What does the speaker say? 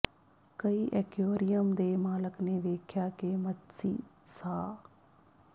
ਕਈ ਐਕੁਏਰੀਅਮ ਦੇ ਮਾਲਕ ਨੇ ਵੇਖਿਆ ਕਿ ਮੱਛੀ ਸਾਹ